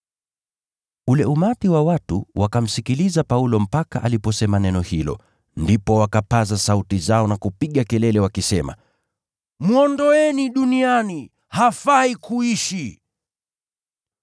Ule umati wa watu wakamsikiliza Paulo mpaka aliposema neno hilo, ndipo wakapaza sauti zao na kupiga kelele wakisema, “Mwondoeni duniani, hafai kuishi!”